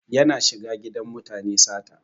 Yana shiga gidajen mutane sata.